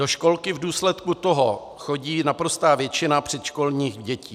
Do školky v důsledku toho chodí naprostá většina předškolních dětí.